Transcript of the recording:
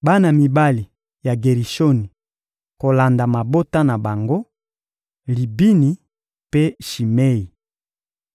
Bana mibali ya Gerishoni kolanda mabota na bango: Libini mpe Shimei.